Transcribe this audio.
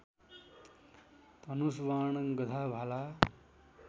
धनुषवाण गधा भाला